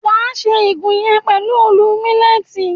Wà á ṣe igun yẹn pẹ̀lú òòlù mílẹ́tì